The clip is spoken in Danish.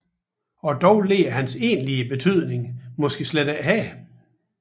Og dog ligger hans egentlige betydning måske ikke her